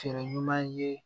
Fɛɛrɛ ɲuman ye